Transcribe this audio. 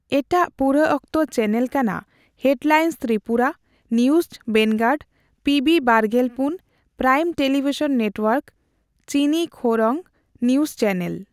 ᱮᱴᱟᱜ ᱯᱩᱨᱟᱚᱠᱛᱚ ᱪᱮᱱᱮᱞ ᱠᱟᱱᱟ headlines Tripura, news Vanguard, PB ᱵᱟᱨᱜᱮᱞᱯᱩᱱ, prime television network, Chini Khorang, news channel.